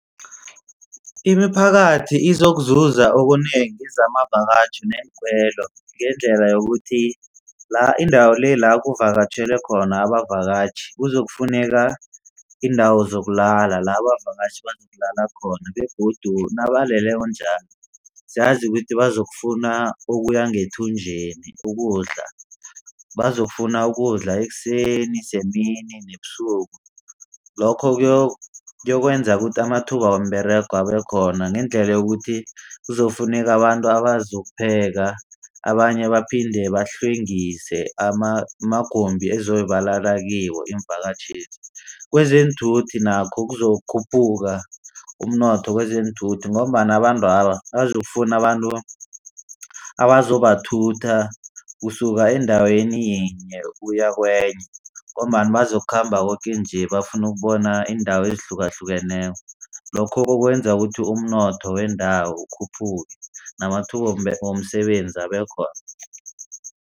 Imiphakathi izokuzuza okunengi zamavakatjhi neenkhwelo ngendlela yokuthi la indawo le la kuvakatjhele khona abavakatjhi kuzokufuneka iindawo zokulala la abavakatjhi bazokulala khona begodu nabaleleko njalo siyazi ukuthi bazokufuna okuya ngethunjeni ukudla. Bazokufuna ukudla ekuseni semini nebusuku. Lokho kuyokwenza ukuthi amathuba womberego abekhona ngendlela yokuthi kuzokufuneka abantu azokupheka. Abanye baphinde bahlwengise amagumbi ezobe balala kiwo iimvakatjhezi. Kwezeenthuthi nakho izokukhuphuka umnotho wezeenthuthi ngombana abantwaba bazokufuna abantu abazobathutha kusuka endaweni yinye ukuya kwenye ngombana bazokukhamba koke nje bafuna ukubona iindawo ezihlukahlukeneko. Lokho kokwenza ukuthi umnotho wendawo ukhuphuke namathuba womsebenzi abekhona.